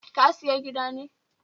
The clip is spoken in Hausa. Ka siya gida ne?